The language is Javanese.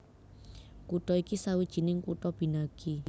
Kutha iki sawijining kutha binagi